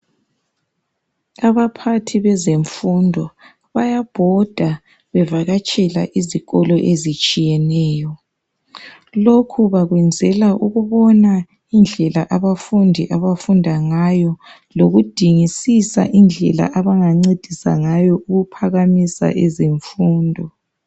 Abaphathi bezemfundo bayabhoda bevakatshela izikolo ezitshiyeneyo lokhu bakwenzela ukubona indlela abafundi abafunda ngayo lokudingisisa indlela abangancedisa ngayo ukuphakamisa izifundo.